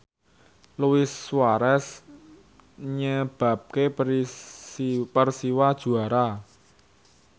Luis Suarez nyebabke Persiwa juara